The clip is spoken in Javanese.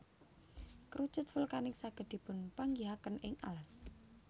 Kerucut vulkanik saged dipunpanggihaken ing alas